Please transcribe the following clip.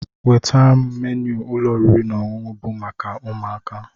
Nweta m ménu ụlọ oriri na ọṅụṅụ bu maka ụmụaka